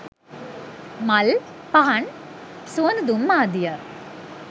මල්, පහන්, සුවඳ දුම් ආදිය